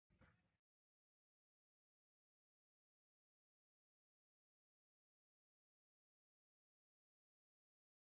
En hvers vegna hafa þau ekki borist?